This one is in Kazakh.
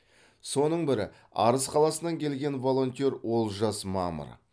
соның бірі арыс қаласынан келген волонтер олжас мамыр